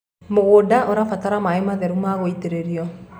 mũgũnda ũrabatara maĩ matheru ma gũitiririo